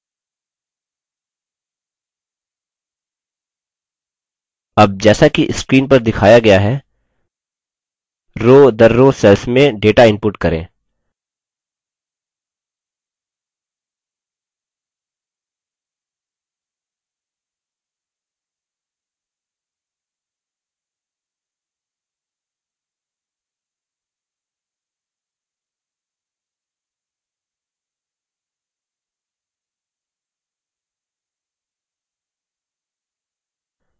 अब जैसा कि screen पर दिखाया गया है rowदरrow cells में data input करें